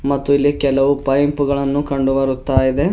ಮತ್ತು ಇಲ್ಲಿ ಕೆಲವು ಪೈಪ್ ಗಳನ್ನು ಕಂಡು ಬರುತ್ತಾ ಇದೆ.